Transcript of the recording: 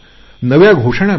नवी घोषवाक्य मिळतील